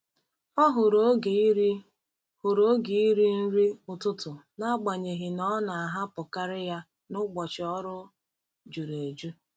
Ọ hụrụ oge iri hụrụ oge iri nri ụtụtụ n’agbanyeghị na ọ na-ahapụkarị ya n’ụbọchị ọrụ juru eju.